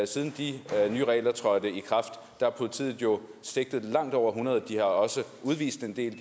siden de nye regler trådte i kraft har politiet jo sigtet langt over hundrede og de har også udvist en del af